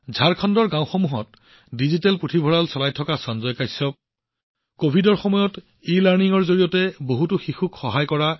ঝাৰখণ্ডৰ গাওঁবোৰত ডিজিটেল পুথিভঁৰাল পৰিচালনা কৰা সঞ্জয় কাশ্যপ হওক হেমলতা এনকে যিয়ে কভিডৰ সময়ত ইলাৰ্ণিংৰ জৰিয়তে বহুতো শিশুক সহায় কৰিছিল